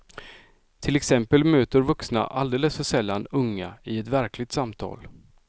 Till exempel möter vuxna alldeles för sällan unga i ett verkligt samtal.